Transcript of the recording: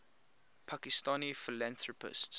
pakistani philanthropists